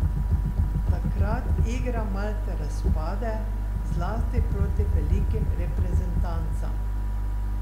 Takrat igra Malte razpade, zlasti proti velikim reprezentancam.